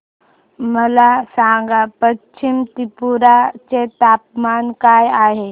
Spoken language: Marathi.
मला सांगा पश्चिम त्रिपुरा चे तापमान काय आहे